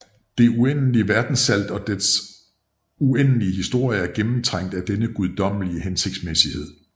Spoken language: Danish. Det uendelige verdensalt og dets uendelige historie er gennemtrængt af denne guddommelige hensigtsmæssighed